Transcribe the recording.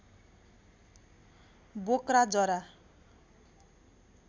बोक्रा जरा